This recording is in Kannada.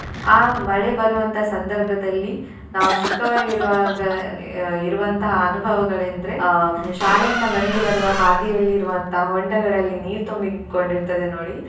ಆ ಮಳೆ ಬರುವಂತಹ ಸಂದರ್ಭದಲ್ಲಿ ನಾವು ಚಿಕ್ಕವರು ಇರುವಾಗ ಅಹ್ ಇರುವಂತಹ ಅನುಭವಗಳೆಂದ್ರೆ ಅಹ್ ಶಾಲೆಯಿಂದ ಮನೆಗೆ ಬರುವ ಹಾದಿಯಲ್ಲಿರುವಂತಹ ಹೊಂಡಗಳಲ್ಲಿ ನೀರ್ ತುಂಬಿಕೊಂಡಿರ್ತದೆ ನೋಡಿ.